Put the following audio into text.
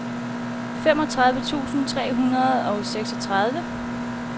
femogtredive tusind tre hundrede og seksogtredive